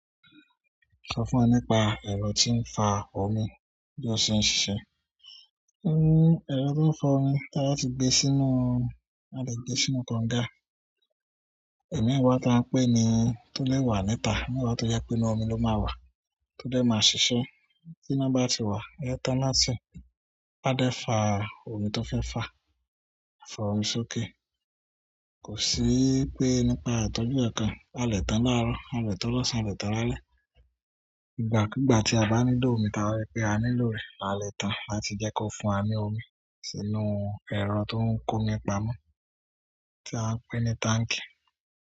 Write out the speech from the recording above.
Sọ fún wọn nípa ẹ̀rọ tí ń fa omi bí ó ṣe ń ṣiṣẹ́. Ẹrọ tó ń fa omi táyà tí gbé sínú, a lè gbé sínú kọ́ńgà. Ẹ̀mi ẹ̀wà tí à ń pè ní tó lè wà níta, nígbà tó yẹ pé inú omi ló máa wà, tó dé máa ṣiṣẹ́. Tí iná bá ti wà, è tána si a de fa omi tó fẹ́ fa, a fa omi sókè. Kò sí pé nípa ìtọ́jú kankan, a lè tán láàárọ̀, a lè tán lọ́sàn án, a lè tán lálẹ́. Ìgbàkúgbà tí a bá nílò omi, tábà rí pé a nílò rẹ̀, a lè tán láti jẹ́ kó fún wa ní omi sínú ẹ̀rọ tó ń ko ni pamọ́ tí à ń pè ní táǹkì.